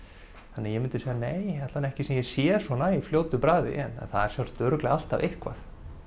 þannig að ég myndi segja nei allavega ekki eitthvað sem ég sé svona í fljótu bragði en það er sjálfsagt örugglega alltaf eitthvað